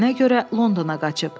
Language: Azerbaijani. Deyilənə görə, Londona qaçıb.